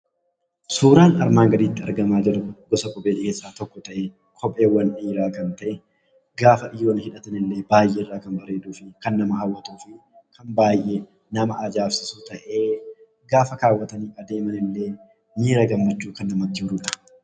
Suuraan asii gaditti argamaa jiru gosa kopheewwanii keessaa tokko ta'ee kopheewwan dhiiraa kan ta'e, gaafa hidhatan illee kan baay'ee irraa bareedu fi kan nama hawwatudha. Baay'ee kan nama ajaa'ibsiisu ta'ee yeroo hidhatanii deeman illee miira gammachuu kan namatti horudha.